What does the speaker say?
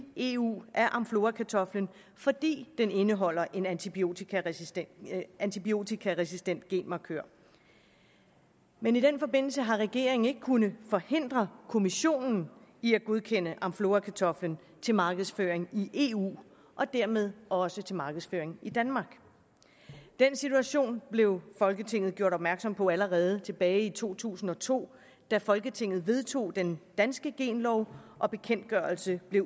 eu af amflorakartoflen fordi den indeholder en antibiotikaresistent antibiotikaresistent genmarkør men i den forbindelse har regeringen ikke kunnet forhindre kommissionen i at godkende amflorakartoflen til markedsføring i eu og dermed også til markedsføring i danmark den situation blev folketinget gjort opmærksom på allerede tilbage i to tusind og to da folketinget vedtog den danske genlov og bekendtgørelsen blev